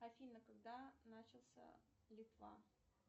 афина когда начался литва